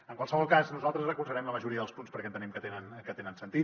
en qualsevol cas nosaltres recolzarem la majoria dels punts perquè entenem que tenen sentit